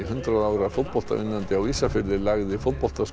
hundrað ára á Ísafirði lagði